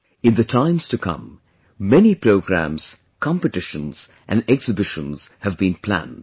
In the times to come, many programmes, competitions & exhibitions have been planned